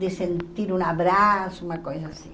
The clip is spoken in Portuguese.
De sentir um abraço, uma coisa assim.